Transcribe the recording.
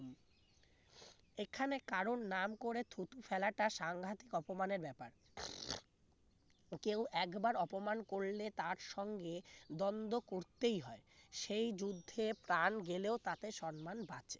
এখানে কারোর নাম করে থুতু ফেলাটা সাংঘাতিক অপমানের ব্যাপার তোকেও একবার অপমান করলে তার সঙ্গে দ্বন্দ্ব করতেই হয় সেই যুদ্ধে প্রাণ গেলেও তাতে সম্মান বাঁচে